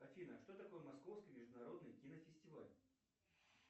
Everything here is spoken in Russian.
афина что такое московский международный кинофестиваль